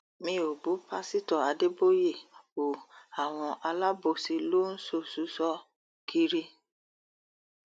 mi ò bú pásítọ adéboyè o àwọn alábòsí ló ń ṣòṣùṣọ kiri